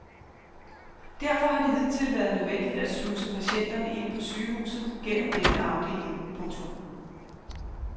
Derfor har det hidtil været nødvendigt at sluse patienterne ind på sygehuset gennem denne afdeling. punktum